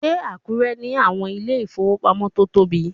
Ṣé Àkúrẹ́ ní àwọn ilé ìfowópamọ́ tó tóbi?